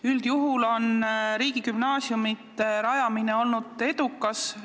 Üldjuhul on riigigümnaasiumide rajamine olnud edukas.